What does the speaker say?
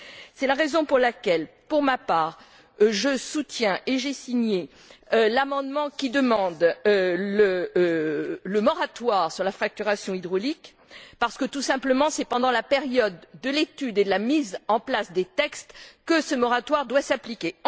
C'est la raison pour laquelle, pour ma part, je soutiens et j'ai signé l'amendement qui demande le moratoire sur la fracturation hydraulique, tout simplement parce que c'est pendant la période de l'étude et de la mise en place des textes que ce moratoire doit s'appliquer.